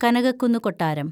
കനകക്കുന്നു കൊട്ടാരം